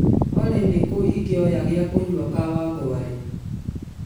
olly nĩkũ ingĩoya gĩa kũnyua kawangware